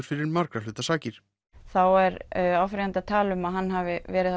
fyrir margra hluta sakir þá er áfrýjandi að tala um að hann hafi verið